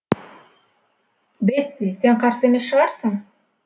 бетти сен қарсы емес шығарсың